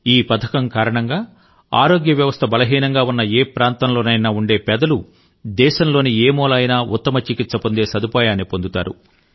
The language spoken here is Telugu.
ఈ పథకం కారణంగా ఆరోగ్య వ్యవస్థ బలహీనంగా ఉన్న ఏ ప్రాంతంలోనైనా ఉండే పేదలు దేశంలోని ఏ మూల అయినా ఉత్తమ చికిత్స పొందే సదుపాయాన్ని పొందుతారు